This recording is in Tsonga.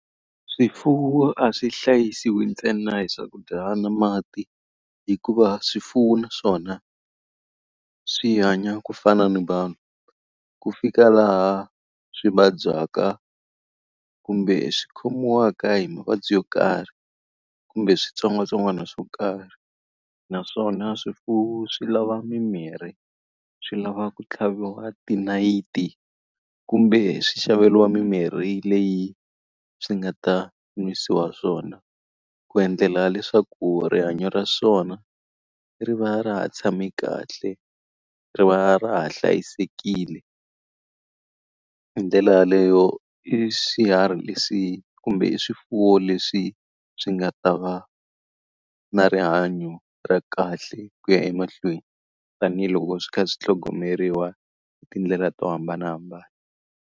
Swifuwo a swi hlayisiwi ntsena hi swakudya na mati, hikuva swifuwo naswona swi hanya ku fana ni vanhu. Ku fika laha swi vabyaka kumbe swi khomiwaka hi mavabyi yo karhi, kumbe switsongwatsongwana swo karhi. Na swona swifuwo swi lava mimirhi, swi lava ku tlhaviwa tinayiti, kumbe swi xaveriwa mimirhi leyi swi nga ta nwisiwa swona, ku endlela leswaku rihanyo ra swona ri va ra ha tshame kahle, ri va ra ha hlayisekile. Hi ndlela yaleyo i swiharhi leswi kumbe i swifuwo leswi swi nga ta va na rihanyo ra kahle ku ya emahlweni. Tanihi loko swi kha swi tlhogomeriwa hi tindlela to hambanahambana.